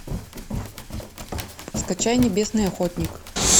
скачай небесный охотник